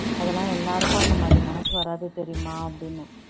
அதெல்லாம் எல்லாருக்கும் அந்த மாதிரி மனசு வராது தெரியுமா அப்படின்னேன்